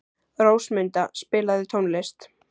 Rósmunda, spilaðu tónlist.